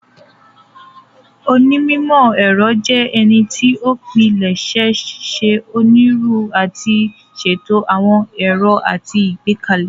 Onímọ̀-ẹ̀rọ jẹ ènìyàn tí o pilẹṣẹ ṣe oniru ati ṣetọju ,awọn ẹrọ àti Igbekale.